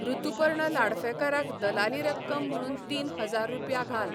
ऋतुपर्ण लाडफेकार क दलाली रक्कम म्हणून तीनहजार रुपया घाल